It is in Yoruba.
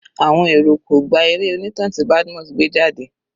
Àwọn èrò kò gba eré onítàn tí Badmus gbé jáde.